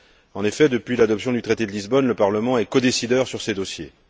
En effet, depuis l'adoption du traité de Lisbonne, le Parlement est codécideur sur ces dossiers.